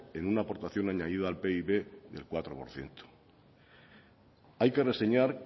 en una aportación añadida al pib del cuatro por ciento hay que reseñar